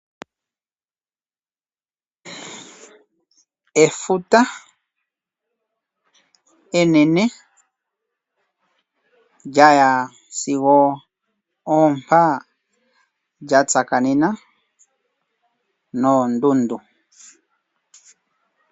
Efuta enene lya ya sigo oompa lya tsakanena noondundu.